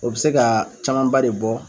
O bɛ se ka camanba de bɔ.